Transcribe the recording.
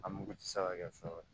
A mugu tɛ se ka kɛ fɛn wɛrɛ ye